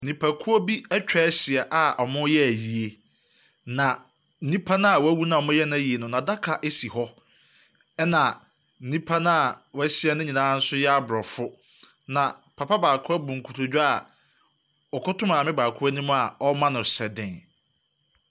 Nnipakuo bi atwa ahyia a wɔreyɛ ayie, na nipa no a wawu na wɔreyɛ n'ayie no, n'adaka asi hɔ, ɛna nnip Nnipa no a wɔahyia no nyinaa yɛ aborɔfo, na papa baako a abu a nkotodwe a ɔkoto maame baako anim a ɔrema no hyɛden.